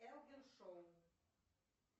элвин шоу